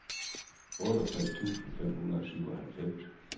otteogtres tusind fem hundrede og syvoghalvfems